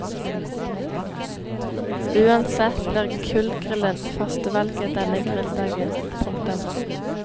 Uansett blir kullgrillen førstevalget denne grilldagen. punktum